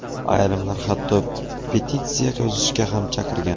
Ayrimlar hatto petitsiya yozishga ham chaqirgan.